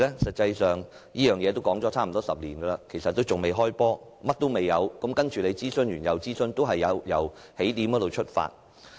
實際上，有關方案已說了差不多10年，但仍未開始實行，當局只是不斷諮詢，不斷由起點出發。